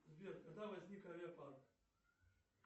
сбер когда возник авиапарк